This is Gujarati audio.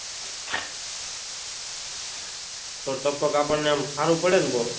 તો ટપક આપણને સારું પડે ને